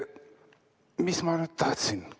Mis ma nüüd tahtsingi ...